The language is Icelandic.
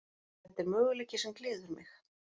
Þetta er möguleiki sem gleður mig.